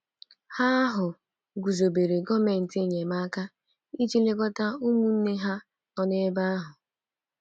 Ha ahụ guzobere kọmitii enyemaka iji lekọta ụmụnne ha nọ ebe ahụ.